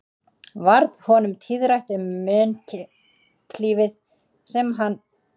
Varð honum tíðrætt um munklífið sem hann kvað engan geta valið sér án